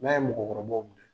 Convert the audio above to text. N'a ye mɔgɔkɔrɔbaw minɛ.